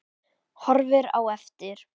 Horfir á eftir